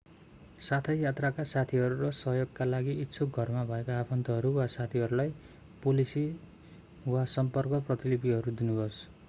साथै यात्राका साथीहरू र सहयोगका लागि इच्छुक घरमा भएका आफन्तहरू वा साथीहरूलाई पोलिसी/सम्पर्क प्रतिलिपिहरू दिनुहोस्।